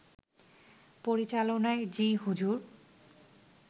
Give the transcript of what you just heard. পরিচালনায় 'জি হুজুর'